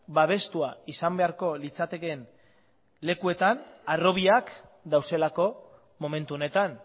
babestua izan beharko litzatekeen lekuetan harrobiak daudelako momentu honetan